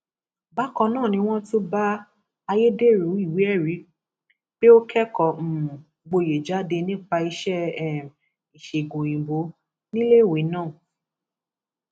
bákan náà ni wọn tún bá ayédèrú ìwéẹrí pé ó kẹkọọ um gboyè jáde nípa iṣẹ um ìṣègùn òyìnbó níléeèwé náà